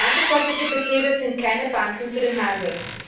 Landwirtschaftliche Betriebe sind keine Banken für den Handel.